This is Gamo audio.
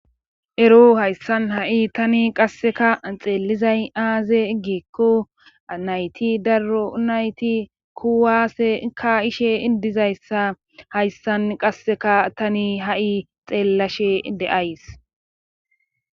ero hayssan ha7i tani qasseka xeelizay aaze iggikko nayti daro nayti kuwaase ka ishe idizayssa hayssan qasseka tani ha7i xeellashe de7ays